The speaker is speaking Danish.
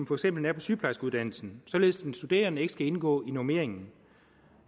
for eksempel er på sygeplejerskeuddannelsen således at den studerende ikke skal indgå i normeringen